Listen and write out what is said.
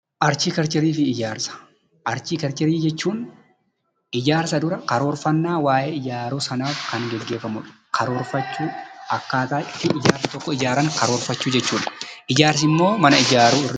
Arkiteekchariifi ijaarsa, arkiteekcharii jechuun ijaarsa dura karoorfannaa waayee ijaaruu sanaaf kan gaggeefamudha. Karoorfachuu akkaataa itti ijaarsi tokko ijaaramu karoorfachuu jechuudha. Ijaarsimmoo mana ijaaru.